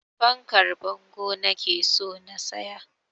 Fankar bango nake so na siya